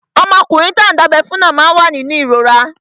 Ọmọkùnrin tán dábẹ́ fún náà wà nínú ìrora